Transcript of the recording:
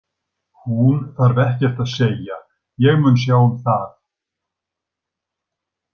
Hún þarf ekkert að segja, ég mun sjá það.